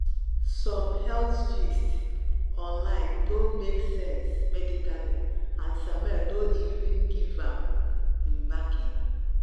some some health gist online no make sense medically and samuel no even give am him backing.